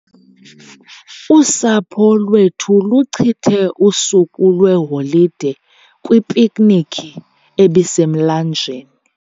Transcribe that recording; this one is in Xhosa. Usapho lwethu luchithe usuku lweholide kwipiknikhi ebisemlanjeni.